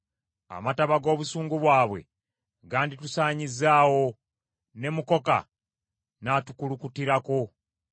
Amataba g’obusungu bwabwe ganditusaanyizzaawo, ne mukoka n’atukulukutirako;